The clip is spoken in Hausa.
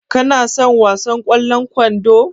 Ka na son wasan ƙwallon kwando?